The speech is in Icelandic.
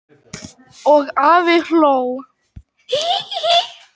Og afi hló.